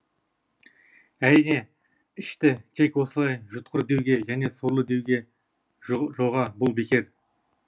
әрине ішті тек осылай жұтқыр деуге және сорлы деуге жоға бұл бекер